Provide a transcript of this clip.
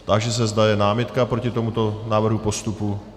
Táži se, zda je námitka proti tomuto návrhu postupu.